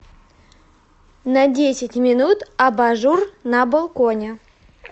на десять минут абажур на балконе